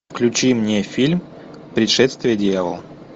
включи мне фильм пришествие дьявола